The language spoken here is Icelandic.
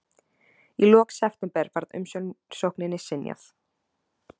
Í lok september var umsókninni synjað